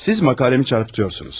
Siz məqaləmi təhrif edirsiniz.